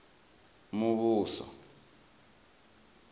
muvhuso